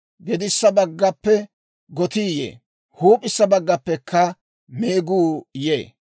Gedissa baggappe gotii yee; huup'issa baggappekka meeguu yee.